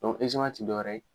Dɔn ɛzeman te dɔwɛrɛ ye